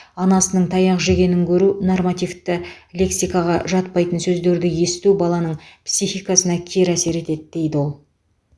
анасының таяқ жегенін көру нормативті лексикаға жатпайтын сөздерді есту баланың психикасына кері әсер етеді дейді ол